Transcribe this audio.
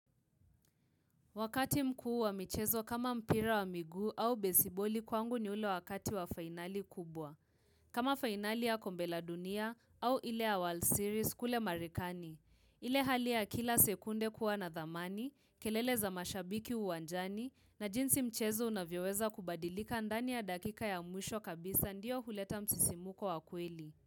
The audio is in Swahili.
Wakati mkuu wa michezo kama mpira wa miguu au besiboli kwangu ni ule wakati wa finali kubwa. Kama finali ya kombe la dunia au ile ya world series kule marekani. Ile hali ya kila sekunde kuwa na dhamani, kelele za mashabiki uwanjani na jinsi mchezo unavyoweza kubadilika ndani ya dakika ya mwisho kabisa ndiyo huleta msisimuko wa kweli.